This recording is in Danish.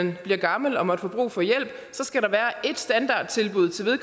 vi bliver gamle og måtte få brug for hjælp så skal der være ét standardtilbud til